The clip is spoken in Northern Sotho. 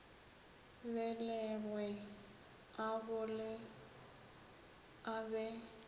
belegwe a gole a be